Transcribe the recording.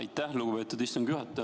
Aitäh, lugupeetud istungi juhataja!